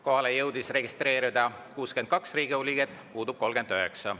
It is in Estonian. Kohaolijaks jõudis registreeruda 62 Riigikogu liiget, puudub 39.